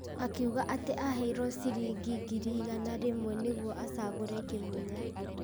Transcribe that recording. Akiuga atĩ aheirwo ciringi ngiri igana rĩmwe nĩguo acagũrĩ Kĩmunya,